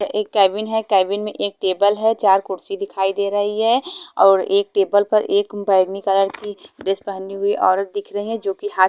एक केबिन है केबिन में एक टेबल है चार खुर्ची दिखाई दे रही है और एक टेबल पर एक बैगनी कलर की ड्रेस पहनी हुयी औरत दिख रही है जो की हात--